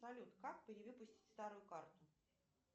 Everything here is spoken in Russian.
салют как перевыпустить старую карту